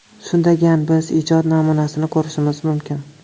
Shundagan biz ijod namunasini ko‘rishimiz mumkin.